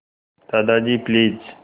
Dadaji please